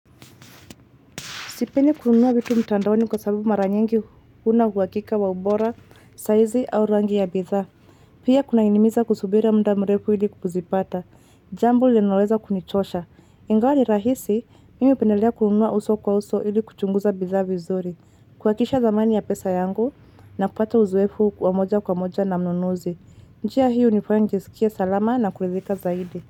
Kusipeni kununua vitu mtandaoni kwa sababu mara nyingi huna huhakika wa ubora, saizi au rangi ya bidha. Pia kunainimiza kusubira mda mrefu ili kukuzipata. Jambo linaloweza kunichosha. Ingawa ni rahisi, mimi hupendelea kununua uso kwa uso ili kuchunguza bidha vizuri. Kuhakikisha dhamani ya pesa yangu na kupata uzoefu wa moja kwa moja na mnunuzi. Njia hii hunifanya nijisikie salama na kurithika zaidi.